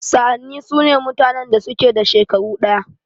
Sa'anni sune mutanen da suke da shekaru ɗaya.